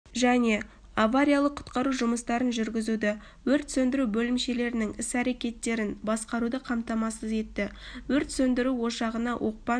және авариялық-құтқару жұмыстарын жүргізуді өрт сөндіру бөлімшелерінің іс-әрекеттерін басқаруды қамтамасыз етті өрт сөндіру ошағына оқпан